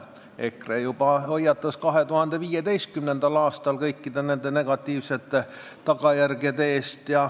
EKRE hoiatas juba 2015. aastal kõikide nende negatiivsete tagajärgede eest.